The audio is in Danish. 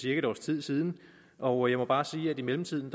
et års tid siden og jeg må bare sige at i mellemtiden